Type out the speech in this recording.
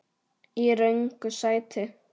Í röngu sæti.